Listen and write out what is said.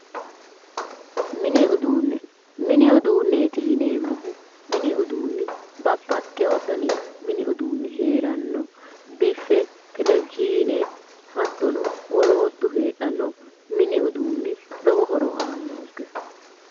Mini uduunne, mini uduunneeti yineemmohu mini uduunni babbaxewo dani mini uduunni heeranno biffe, tevizhiine hattono woloottu heedhanno mini uduunni lowo horo aannonke.